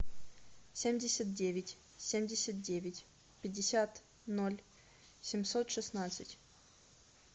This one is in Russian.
семьдесят девять семьдесят девять пятьдесят ноль семьсот шестнадцать